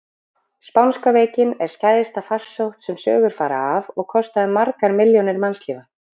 Spánska veikin er skæðasta farsótt sem sögur fara af og kostaði margar milljónir mannslífa.